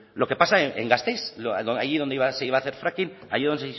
lo que pasa en gasteiz allí donde se iba a hacer fracking allí en